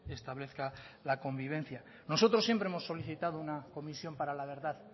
establezca la convivencia nosotros siempre hemos solicitado una comisión para la verdad